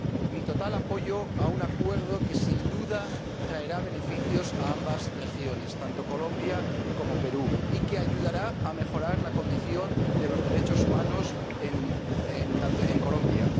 Mi total apoyo a un acuerdo que sin duda traerá beneficios a ambas regiones, tanto Colombia como Perú, y que ayudará a mejorar la condición de los derechos humanos en Colombia.